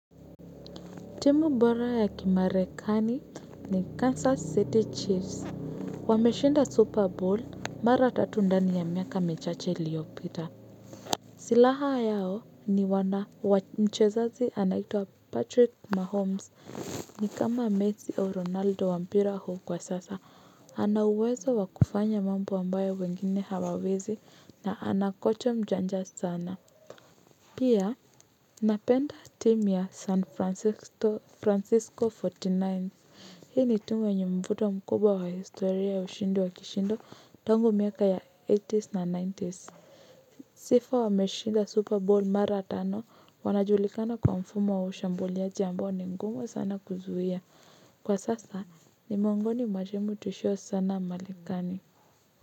Timu bora ya kimarekani ni Kansas City Chiefs. Wameshinda super bowl mara tatu ndani ya miaka mechache iliyopita. Silaha yao ni wana mchezaji anaitwa Patrick Mahomes ni kama Messi au Ronaldo wa mpira huo kwa sasa. Ana uwezo wa kufanya mambo ambayo wengine hawawezi na ana kocha mjanja sana pia napenda timu san francisco francisco forty nine hii ni timu yenye mvuto mkubwa wa historia ya ushindi wa kishindo tangu miaka ya eighties na nineties sifa wa meshinda super bowl mara tano wanajulikana kwa mfumo wa ushambuliaji ambao ni ngumu sana kuzuia kwa sasa ni miongoni mwa timu tishio sana Marekani. Kwa hivyo.